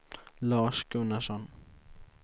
Lars Gunnarsson